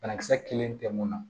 Banakisɛ kelen tɛ mun na